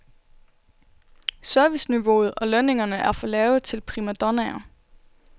Serviceniveauet og lønningerne er for lave til primadonnaer.